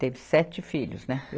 Teve sete filhos, né?